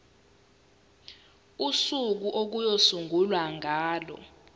usuku okuyosungulwa ngalo